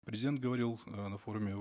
президент говорил э на форуме